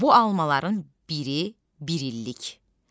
Bu almaların biri bir illikdir.